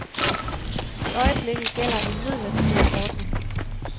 I øjeblikket gælder en midlertidig ordning.